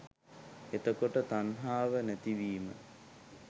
එතකොට තණ්හාව නැතිවීම